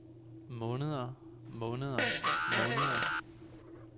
måneder måneder måneder